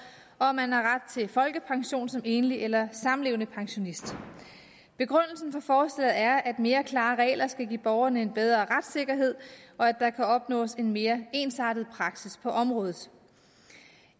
og om man har ret til folkepension som enlig eller samlevende pensionist begrundelsen for forslaget er at mere klare regler skal give borgerne en bedre retssikkerhed og at der kan opnås en mere ensartet praksis på området